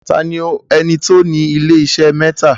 Taani ẹni tí o ní ilé-isé mẹ́tà?